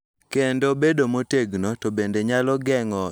Kendo bedo motegno to bende nyalo geng�o nyiso kaka iwinjo e chunye,